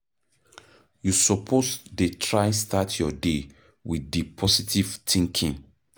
You suppose dey try start your day wit di positive thinking.